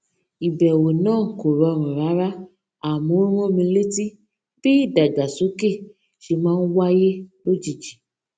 ìbèwò náà kò rọrùn rárá àmó ó rán mi létí bí ìdàgbàsókè ṣe máa ń wáyé lójijì